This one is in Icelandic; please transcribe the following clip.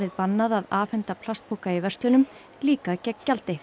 bannað að afhenda plastpoka í verslunum líka gegn gjaldi